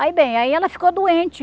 Aí bem, aí ela ficou doente.